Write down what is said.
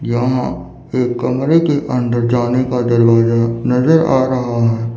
यहां एक कमरे के अंदर जाने का दरवाजा नजर आ रहा है।